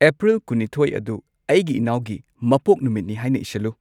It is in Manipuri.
ꯑꯦꯄ꯭ꯔꯤꯜ ꯀꯨꯟꯅꯤꯊꯣꯏ ꯑꯗꯨ ꯑꯩꯒꯤ ꯏꯅꯥꯎꯒꯤ ꯃꯄꯣꯛꯅꯨꯃꯤꯠꯅꯤ ꯍꯥꯏꯅ ꯏꯁꯜꯂꯨ